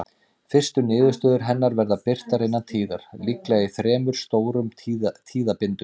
Fyrstu niðurstöður hennar verða birtar innan tíðar, líklega í þremur stórum tíðabindum.